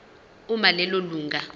uma lelo lunga